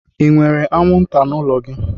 enwere anwụnta n'ụlọ gị?